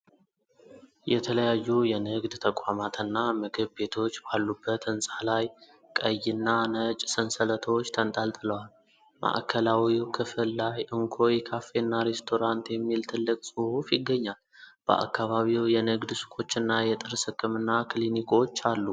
የተለያዩ የንግድ ተቋማትና ምግብ ቤቶች ባሉበት ሕንፃ ላይ ቀይና ነጭ ሰንሰለቶች ተንጠልጥለዋል። ማዕከላዊው ክፍል ላይ እንኮይ ካፌና ሬስቶራንት የሚል ትልቅ ጽሑፍ ይገኛል። በአካባቢው የንግድ ሱቆችና የጥርስ ሕክምና ክሊኒክ አሉ።